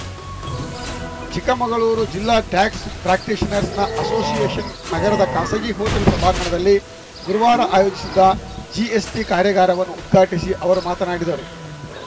ಚಿಕ್ಕಮಗಳೂರು ಜಿಲ್ಲಾ tax practitioners association ನಗರದ ಖಾಸಗಿ ಹೋಟೆಲ್‌ ಸಭಾಂಗಣದಲ್ಲಿ ಗುರುವಾರ ಆಯೋಜಿಸಿದ್ದ ಜಿಎಸ್‌ಟಿ ಕಾರ್ಯಾಗಾರವನ್ನು ಉದ್ಘಾಟಿಸಿ ಅವರು ಮಾತನಾಡಿದರು